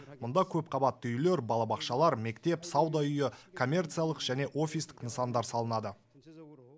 мұнда көпқабатты үйлер балабақшалар мектеп сауда үйі коммерциялық және офистік нысандар салынады